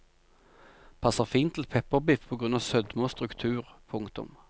Passer fint til pepperbiff på grunn av sødme og struktur. punktum